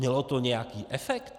Mělo to nějaký efekt?